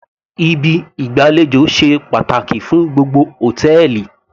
Ibi ìgbàlejò ṣe pàtàkì fún gbogbo hòtẹ́ẹ̀lì